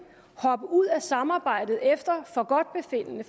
hoppe ud af samarbejdet efter forgodtbefindende